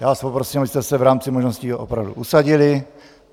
Já vás poprosím, abyste se v rámci možností opravdu usadili.